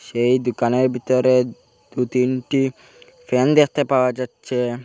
সেই দুকানের বিতরে দু-তিনটি ফ্যান দেখতে পাওয়া যাচ্চে।